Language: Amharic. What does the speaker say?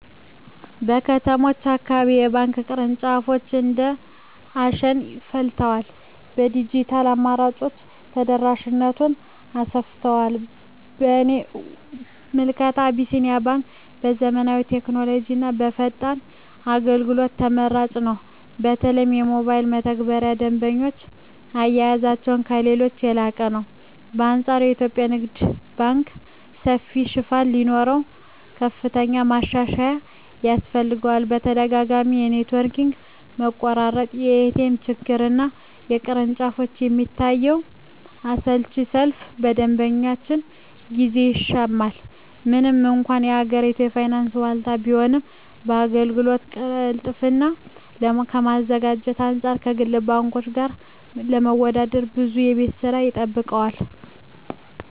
በከተሞች አካባቢ የባንክ ቅርንጫፎች እንደ አሸን ፈልተዋል፤ የዲጂታል አማራጮችም ተደራሽነቱን አሰፍተውታል። በእኔ ምልከታ አቢሲኒያ ባንክ በዘመናዊ ቴክኖሎጂና በፈጣን አገልግሎት ተመራጭ ነው። በተለይ የሞባይል መተግበሪያቸውና የደንበኛ አያያዛቸው ከሌሎች የላቀ ነው። በአንፃሩ የኢትዮጵያ ንግድ ባንክ ሰፊ ሽፋን ቢኖረውም፣ ከፍተኛ ማሻሻያ ያስፈልገዋል። ተደጋጋሚ የኔትወርክ መቆራረጥ፣ የኤቲኤም ችግርና በቅርንጫፎች የሚታየው አሰልቺ ሰልፍ የደንበኞችን ጊዜ ይሻማል። ምንም እንኳን የሀገሪቱ የፋይናንስ ዋልታ ቢሆንም፣ የአገልግሎት ቅልጥፍናን ከማዘመን አንፃር ከግል ባንኮች ጋር ለመወዳደር ብዙ የቤት ሥራ ይጠብቀዋል።